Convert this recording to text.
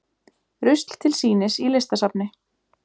Rusl til sýnis í listasafni